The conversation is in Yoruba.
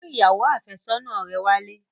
Mú ìyàwó àfẹ́sọ́nà rẹ wálé!